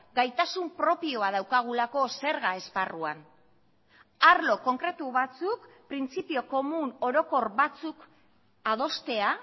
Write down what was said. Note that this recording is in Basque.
gaitasun propioa daukagulako zerga esparruan arlo konkretu batzuk printzipio komun orokor batzuk adostea